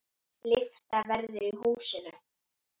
Lyfta verður í húsinu.